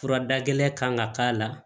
Fura da gɛlɛn kan ka k'a la